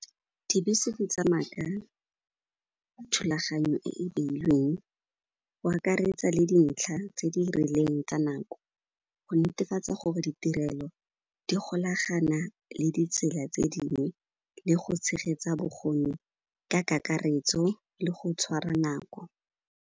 Dibese di tsamaya ka thulaganyo e e beilweng, o akaretsa le dintlha tse di rileng tsa nako go netefatsa gore ditirelo di golagana le ditsela tse dingwe le go tshegetsa bokgoni ka kakaretso le go tshwara nako.